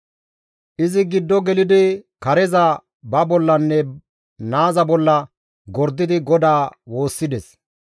Izi giddo gelidi kareza ba bollanne naaza bolla gordidi GODAA woossides.